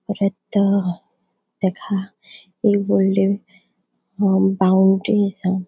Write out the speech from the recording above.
परत ताका एक वोडले अ बॉउंडरी असा.